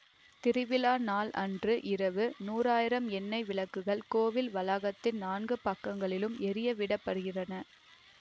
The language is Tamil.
திருவிழா நாள் அன்று இரவு நூறாயிரம் எண்ணை விளக்குகள் கோவில் வளாகத்தின் நான்கு பக்கங்களிலும் எரிய விடப்படுகிறன